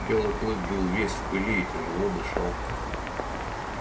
белый клык был весь в пыли и тяжело дышал